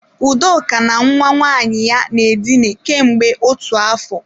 Udoka na nwa nwaanyị ya na-edina kemgbe otu afọ.